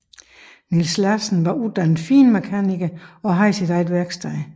Niels Larsen var uddannet finmekaniker og havde sit eget værksted